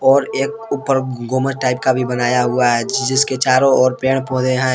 और एक ऊपर गुंबज टाइप का भी बनाया हुआ है जिसके चारों और पेड़ पौधे हैं।